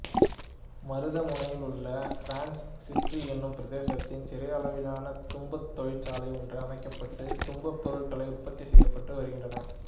மருதமுனையிலுள்ள France city என்னும் பிரதேசத்தில் சிறியளவிலான தும்புத் தொழிற்சாலை ஒன்று அமைக்கப்பட்டு தும்புப் பொருட்கள் உற்பத்தி செய்யப்பட்டு வருகின்றன